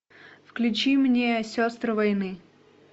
включи мне сестры войны